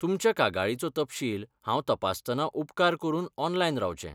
तुमच्या कागाळीचो तपशील हांव तपासतना उपकार करूनऑनलायन रावचें.